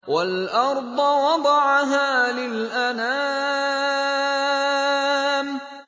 وَالْأَرْضَ وَضَعَهَا لِلْأَنَامِ